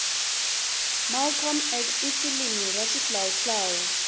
malcolm x ifilimu rashihlawuhlawu